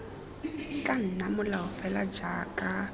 tla nna molao fela jaaka